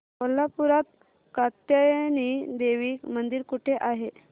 कोल्हापूरात कात्यायनी देवी मंदिर कुठे आहे